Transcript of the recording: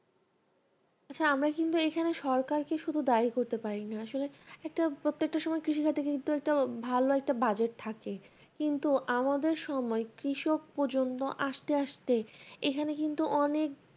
আচ্ছা আমরা কিন্তু এইখানে সরকারকে শুধু দায়ী করতে পারিনা আসলে একটা প্রত্যেকটা সময়ে কৃষিক্ষেত্রে কিন্তু একটা ভালো একটা budget থাকে কিন্তু আমাদের সময়ে কৃষক পর্যন্ত আসতে আসতে এইখানে কিন্তু অনেক